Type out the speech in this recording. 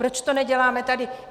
Proč to neděláme tady?